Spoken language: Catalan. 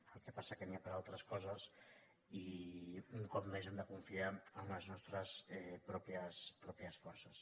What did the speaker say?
el que passa que n’hi ha per a altres coses i un cop més hem de confiar en les nostres pròpies forces